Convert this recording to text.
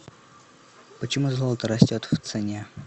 почему золото растет в цене